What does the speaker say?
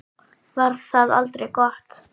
Var það aldrei gott?